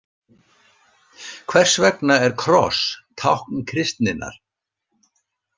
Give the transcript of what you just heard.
Hvers vegna er kross tákn kristninnar?